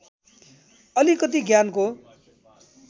अलिकति ज्ञानको